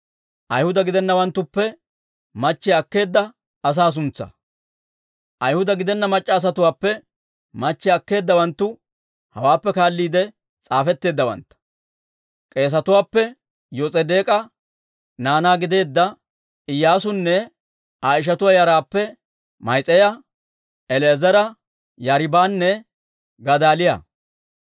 Ayhuda gidenna mac'c'a asatuwaappe machchiyaa akkeedawanttu hawaappe kaalliide s'aafetteeddawantta. K'eesetuwaappe: Yos'edeek'a naanaa gideedda Iyyaasunne Aa ishatuwaa yaraappe Ma'iseeya, El"eezera, Yaariibanne Gadaaliyaa.